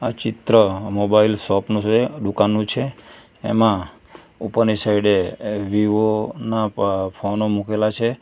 ચિત્ર મોબાઈલ શોપનો છે દુકાનનું છે એમાં ઉપરની સાઈડે વિવો ના ફોનો મુકેલા છે.